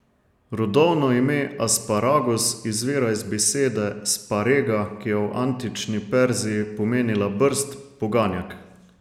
Rodovno ime asparagus izvira iz besede sparega, ki je v antični Perziji pomenila brst, poganjek.